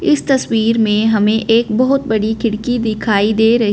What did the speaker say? इस तस्वीर में हमे एक बहोत बड़ी दिखाई दे र--